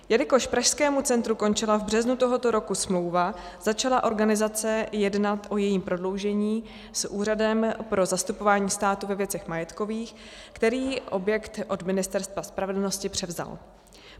Jelikož Pražskému centru končila v březnu tohoto roku smlouva, začala organizace jednat o jejím prodloužení s Úřadem pro zastupování státu ve věcech majetkových, který objekt od Ministerstva spravedlnosti převzal.